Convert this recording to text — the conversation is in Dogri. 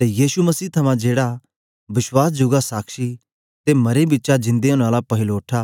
ते यीशु मसीह थमां जेहड़ा बश्वास जुगा साक्षी ते मरें बिचा जिंदा ओनें आला पहिलोठा